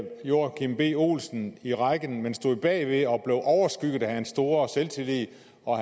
joachim b olsen i rækken men stod bag ved og blev overskygget af hans store selvtillid og